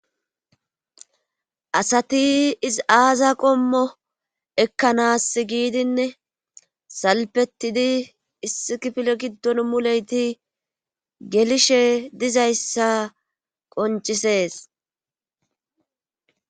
asati izii aaza qommo ekkanas giidinne salpetidi issikifile giddon muleyti gelishe dizayssa qoncisees